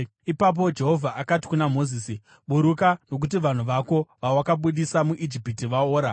Ipapo Jehovha akati kuna Mozisi, “Buruka, nokuti vanhu vako, vawakabudisa muIjipiti, vaora.